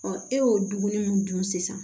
e y'o dumuni min dun sisan